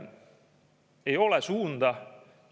Ei ole suunda!